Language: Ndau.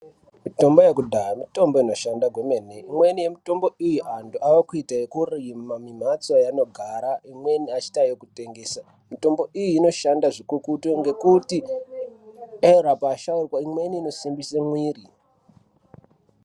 Mitombo yekudhaya mitombo inoshanda kwemene . Imweni yemitombo iyi antu ava kuita yekurima mumhatso yavanogara imweni achiita yekutengesa. Mitombo iyi inoshanda zvikukutu ,ngekuti dera kwashaurwa, imweni inosimbise mwiri .